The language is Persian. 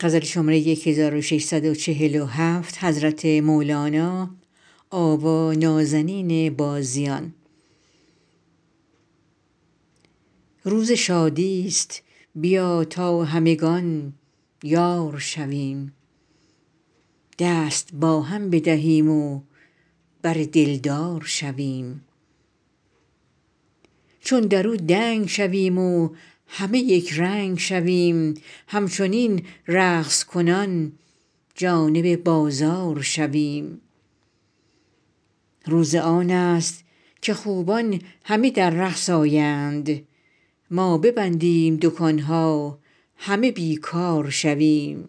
روز شادی است بیا تا همگان یار شویم دست با هم بدهیم و بر دلدار شویم چون در او دنگ شویم و همه یک رنگ شویم همچنین رقص کنان جانب بازار شویم روز آن است که خوبان همه در رقص آیند ما ببندیم دکان ها همه بی کار شویم